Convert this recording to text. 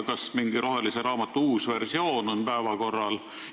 Kas rohelise raamatu uus versioon on päevakorral?